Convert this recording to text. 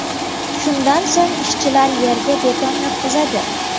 Shundan so‘ng ishchilar yerga beton yotqizadi.